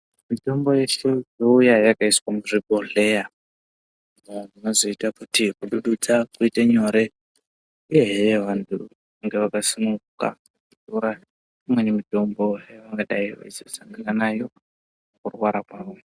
Mitombo yeshe youya yakaiswa muzvibhodhleya vantu vazoita kuti kudududza kuite nyore ehee vantu vange vakasununguka kutora imweni mitombo yavangadai veitora mukurwara kwavo.